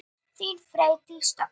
Þín, Freydís Dögg.